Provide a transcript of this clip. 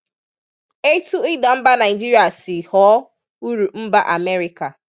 Ètù ìdà mbà Nàìjíríà sì ghọ̀ọ́ úrụ̀ m̀bà Amẹ́ríkà